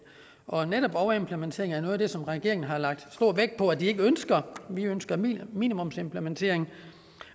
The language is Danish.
og netop overimplementering er noget af det som regeringen har lagt stor vægt på at de ikke ønsker vi ønsker minimumsimplementering